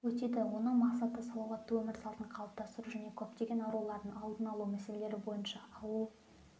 өтеді оның мақсаты салауатты өмір салтын қалыптастыру және көптеген аурулардың алдын алу мәселелері бойынша ауыл